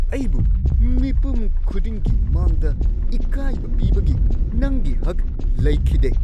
ꯑꯩꯕꯨ ꯃꯤꯄꯨꯝ ꯈꯨꯗꯤꯡꯒꯤ ꯃꯥꯡꯗ ꯏꯀꯥꯏꯕ ꯄꯤꯕꯒꯤ ꯅꯪꯒꯤ ꯍꯛ ꯂꯩꯈꯤꯗꯦ ꯫